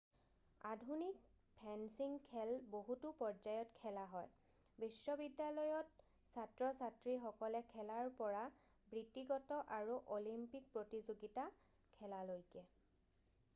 আধুনিক ফেন্সিং খেল বহুতো পৰ্যায়ত খেলা হয় বিশ্বিবিদ্যালয়ত ছাত্ৰ-ছাত্ৰীসকলে খেলাৰ পৰা বৃত্তিগত আৰু অলিম্পিক প্ৰতিযোগিতা খেলালৈকে